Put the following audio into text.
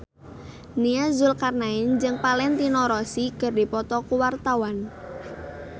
Nia Zulkarnaen jeung Valentino Rossi keur dipoto ku wartawan